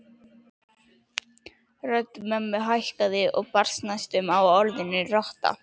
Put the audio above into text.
Rödd mömmu hækkaði og brast næstum á orðinu rotta